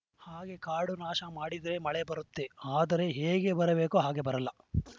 ಹಾಗೇ ಕಾಡು ನಾಶ ಮಾಡಿದ್ರೆ ಮಳೆ ಬರತ್ತೆ ಆದರೆ ಹೇಗೆ ಬರಬೇಕೋ ಹಾಗೆ ಬರಲ್ಲ